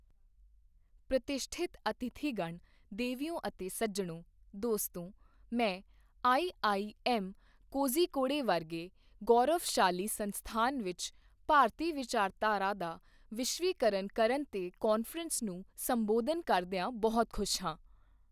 ਪ੍ਰਤਿਸ਼ਠਿਤ ਅਤਿਥੀਗਣ, ਦੇਵੀਓ ਅਤੇ ਸੱਜਣੋਂ, ਦੋਸਤੋ, ਮੈਂ ਆਈਆਈਐੱਮ ਕੋਜ਼ੀਕੋੜੇ ਵਰਗੇ ਗੌਰਵਸ਼ਾਲੀ ਸੰਸਥਾਨ ਵਿੱਚ ਭਾਰਤੀ ਵਿਚਾਰਧਾਰਾ ਦਾ ਵਿਸ਼ਵੀਕਰਨ ਕਰਨ ਤੇ ਕਾਨਫਰੰਸ ਨੂੰ ਸੰਬੋਧਨ ਕਰਦਿਆਂ ਬਹੁਤ ਖੁਸ਼ ਹਾਂ।